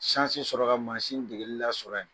sɔrɔ yan ka maasin degeli lasɔrɔ yan..